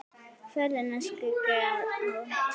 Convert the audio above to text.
Ferðina skyggi á.